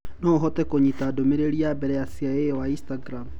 Noo uhote kunyita ndumereri ya mbere ya CIA wa Instagram?